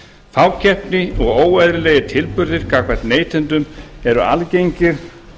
fákeppni og óeðlilegir tilburðir gagnvart neytendum eru algengir